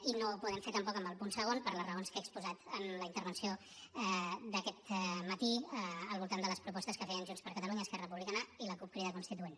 i no ho podem fer tampoc amb el punt segon per les raons que he exposat en la intervenció d’aquest matí al voltant de les propostes que feien junts per catalunya esquerra republicana i la cup crida constituent